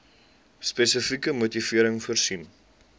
spesifieke motivering voorsien